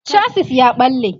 chasis ya ɓalle